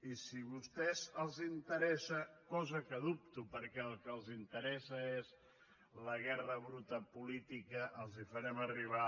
i si a vostès els interessa cosa que dubto perquè el que els interessa és la guerra bruta política els farem arribar